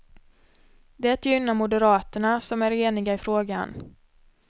Det gynnar moderaterna, som är eniga i frågan.